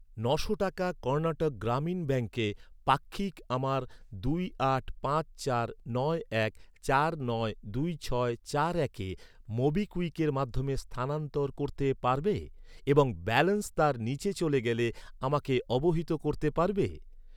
নশো টাকা কর্ণাটক গ্রামীণ ব্যাঙ্কে পাক্ষিক আমার দুই আট পাঁচ চার নয় এক চার নয় দুই ছয় চার একে মোবিকুইকের মাধ্যমে স্থানান্তর করতে পারবে এবং ব্যালেন্স তার নিচে চলে গেলে আমাকে অবহিত করতে পারবে?